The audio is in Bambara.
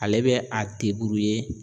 Ale bɛ a